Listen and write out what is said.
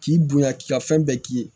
K'i bonya k'i ka fɛn bɛɛ k'i ye